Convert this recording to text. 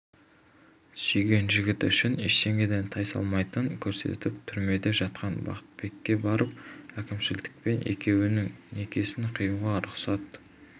сүйген жігіті үшін ештеңеден тайсалмайтынын көрсетіп түрмеде жатқан бақтыбекке барып әкімшіліктен екеуінің некесін қиюға рұқсат